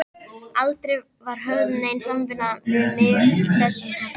Aldrei var höfð nein samvinna við mig í þessum efnum.